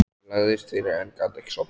Ég lagðist fyrir en gat ekki sofnað.